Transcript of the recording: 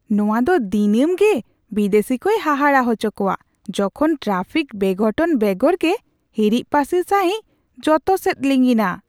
ᱱᱚᱶᱟ ᱫᱚ ᱫᱤᱱᱟᱢᱜᱮ ᱵᱤᱫᱮᱥᱤ ᱠᱚᱭ ᱦᱟᱦᱟᱲᱟᱜ ᱦᱚᱪᱚ ᱠᱚᱣᱟ ᱡᱚᱠᱷᱚᱱ ᱴᱨᱟᱯᱷᱤᱠ ᱵᱮᱼᱜᱷᱚᱴᱚᱱ ᱵᱮᱜᱚᱨ ᱜᱮ ᱦᱤᱨᱤᱡ ᱯᱟᱹᱥᱤᱨ ᱥᱟᱹᱦᱤᱡ ᱡᱚᱛᱚᱥᱮᱫ ᱞᱤᱸᱜᱤᱱᱟ ᱾